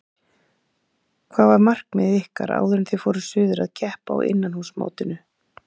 Hvað var markmið ykkar áður en þið fóruð suður að keppa á innanhúsmótinu?